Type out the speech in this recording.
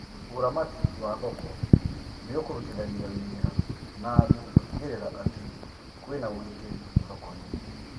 Ũramati wa thoko nĩũkũrutithania wĩra na andũ gũtigĩrĩra atĩ kwĩna ugitĩri thoko-inĩ